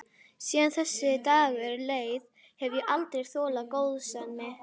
Síðan þessi dagur leið hef ég aldrei þolað góðsemi.